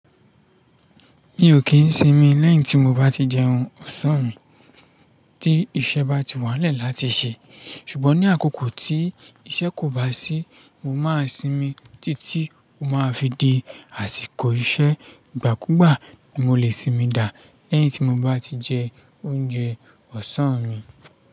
Mi ò kí ń sinmi lẹ́yìn tí mo bá ti jẹun ọ̀sán mi tí iṣẹ́ bá ti wà n lẹ̀ẹ́ láti ṣẹ. Ṣùgbọ́n ní àkókò tí iṣẹ́ kò bá sí mo máa sinmi títí mo máa fi di àsìkò iṣẹ́. Ìgbàkúgbà mo lè sinmi dá lẹ́yìn tí mo bá ti jẹ oúnjẹ ọ̀sán mi.